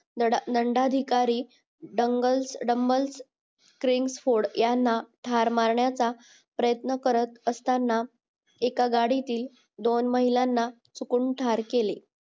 लांडाधिकारी करिंगफ़ूड याना ठरमारण्याचा प्रयत्न करत असताना एकगाडीतील दोन महिलांना चुकून ठार केले